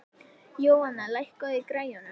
Jóanna, lækkaðu í græjunum.